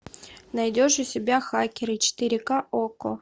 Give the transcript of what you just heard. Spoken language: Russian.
найдешь у себя хакеры четыре ка окко